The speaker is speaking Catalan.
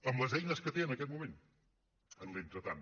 amb les eines que té en aquest moment en l’entretant